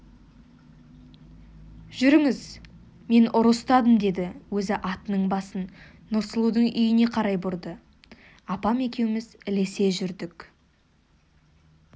жүріңіз мен ұры ұстадым деді өзі атының басын нұрсұлудың үйіне қарай бұрды апам екеуміз ілесе жүрдік